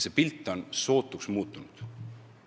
See pilt on sootuks muutunud.